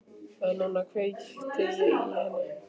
En núna kveikti ég í henni.